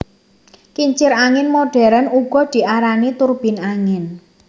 Kincir angin modern uga diarani turbin angin